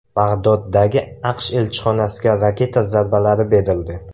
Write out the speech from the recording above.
Bag‘doddagi AQSh elchixonasiga raketa zarbalari berildi.